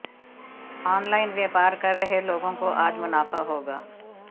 online व्यापार कर रहे लोगों को आज मुनाफा होगा